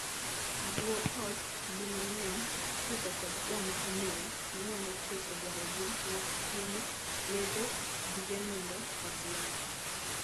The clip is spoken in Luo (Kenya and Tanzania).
Guo ot, di mang'eny, ipidho kod joma omeo ma nyalo chopo dwarogi mag chiemo, yedhe, gige nindo, kod ler.